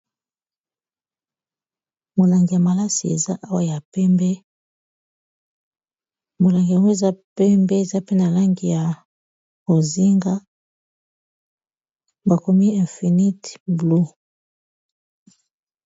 Molangi ya malasi ya pembe eza awa. Molangi yango, eza pembe, eza pe na langi ya bozinga. Bakomi infinite blu